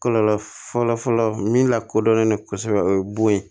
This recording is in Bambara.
Kɔlɔlɔ fɔlɔ fɔlɔ min lakodɔnnen don kosɛbɛ o ye bon ye